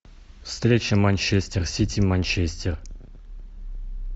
встреча манчестер сити манчестер